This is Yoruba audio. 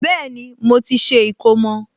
Bẹ́ẹ̀ni, mo ti ṣe ìkómọ